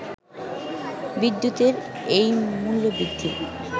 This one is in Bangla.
বিদ্যুতের এই মূল্যবৃদ্ধি